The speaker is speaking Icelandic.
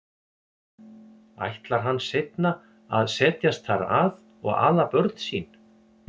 Ætlar hann seinna að setjast þar að og ala börn sín?